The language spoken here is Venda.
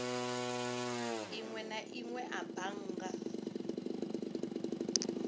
inwe na inwe a bannga